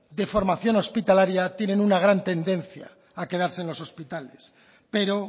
de formación hospitalaria tienen una gran tendencia a quedarse en los hospitales pero